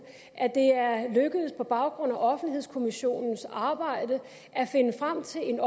at det er lykkedes på baggrund af offentlighedskommissionens arbejde at finde frem til et